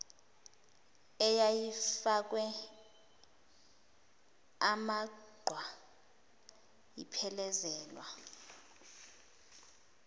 eyayifakwe amaqhwa iphelezelwa